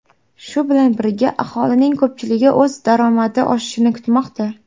Shu bilan birga, aholining ko‘pchiligi o‘z daromadi oshishini kutmoqda.